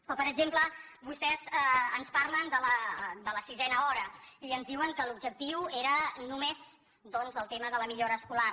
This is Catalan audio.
o per exemple vostès ens parlen de la sisena hora i ens diuen que l’objectiu era només doncs del tema de la millora escolar